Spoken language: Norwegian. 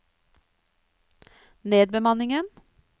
nedbemanningen